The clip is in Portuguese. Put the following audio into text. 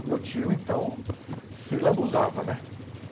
O meu tio, então, se lambuzava, né?